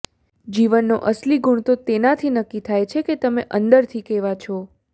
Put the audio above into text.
જીવનનો અસલી ગુણ તો તેનાથી નક્કી થાય છે કે તમે અંદરથી કેવા છો